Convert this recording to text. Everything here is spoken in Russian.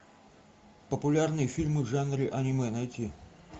популярные фильмы в жанре аниме найти